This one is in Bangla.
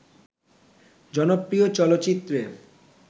জনপ্রিয় চলচিত্রে